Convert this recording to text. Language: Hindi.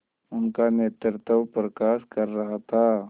उनका नेतृत्व प्रकाश कर रहा था